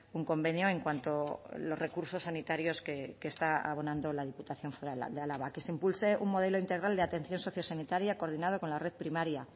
un convenio en cuanto los recursos sanitarios que está abonando la diputación foral de álava que se impulse un modelo integral de atención socio sanitaria coordinado con la red primaria